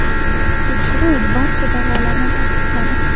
Tekshiruv barcha da’volarni tasdiqladi.